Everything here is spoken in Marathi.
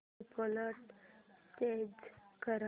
डिफॉल्ट चेंज कर